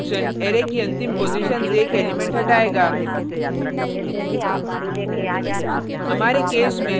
जबकि pop function array की अंतिम पॉजिशन से एक एलिमेंट हटायेगा